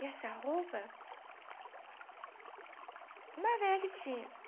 E essa roupa... Uma velha que tinha.